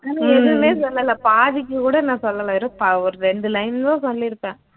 நானும் எதுவுமே சொல்லல பாதிக்குகூட நான் சொல்லல ஒரு ப ஒரு ரெண்டு line தான் சொல்லிருப்பேன்